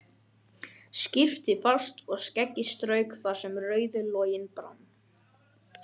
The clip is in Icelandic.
Skyrpti fast og skeggið strauk þar sem rauður loginn brann.